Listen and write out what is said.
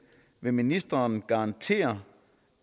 vil ministeren garantere